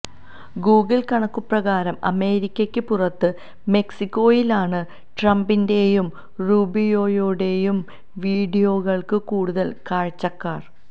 Google കണക്കുകള് പ്രകാരം അമേരിക്കയ്ക്ക് പുറത്തു മെക്സിക്കോയിലാണ് ട്രംപിന്റെയും റൂബിയോയുടെയും വീഡിയോകള്ക്ക് കൂടുതല് കാഴ്ചക്കാര്